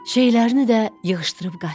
Şeylərini də yığışdırıb qaçdı.